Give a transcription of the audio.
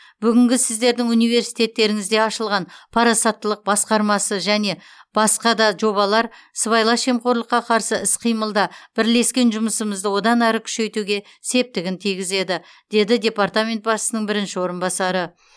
бүгінгі сіздердің университтеріңізде ашылған парасаттылық басқармасы және басқа да жобалар сыбайлас жемқорлыққа қарсы іс қимылда бірлескен жұмысымызды одан әрі күшейтуге септігін тигізеді деді департамент басшысының бірінші орынбасары